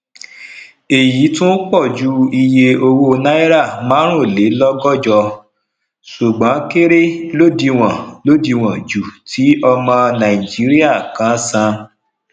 èyí tún pọju iye owó náírà marunlelogojo sùgbón kéré lodiwon lodiwon ju ti ọmọ nàìjíríà kan san